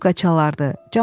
Skripka çalardı.